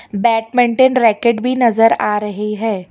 Badminton racket भी नजर आ रही है।